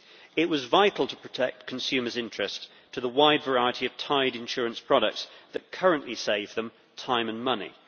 It was vital to protect consumers' interest in the wide variety of tied insurance products that currently save them time and money.